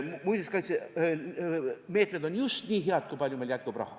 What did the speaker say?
Muinsuskaitse meetmed on just nii head, kui palju meil jätkub raha.